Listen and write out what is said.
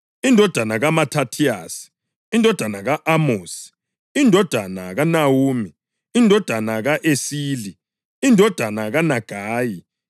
indodana kaMathathiyasi, indodana ka-Amosi, indodana kaNahumi, indodana ka-Esili, indodana kaNagayi,